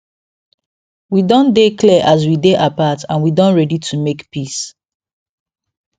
we don dey clear as we dey apart and we don ready to make peace